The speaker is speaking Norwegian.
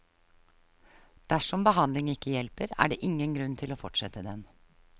Dersom behandling ikke hjelper, er det ingen grunn til å fortsette den.